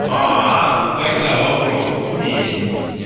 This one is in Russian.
а ну тогда вопросов нет